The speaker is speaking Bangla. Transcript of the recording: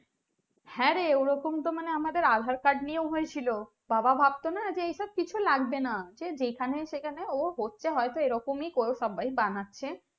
হ্যাঁ রে ওরকম তো আমাদের aadhaar card নিয়েও হয়েছিল বাবা ভাবতোনা যে এসব কিছু লাগবেনা যেখানে সেখানে ও হচ্ছে হয়তো এরকমই সবাই বানাচ্ছে